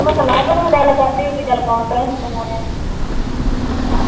ਮੈਂ ਕਿਹਾ ਲਵ ਨਾਲ ਗੱਲ ਕਰਦੀ ਹੋਊਗੀ ਚੱਲ ਕਾਨਫਰੈਂਸ ਕਮਾਉਣੇ ਆ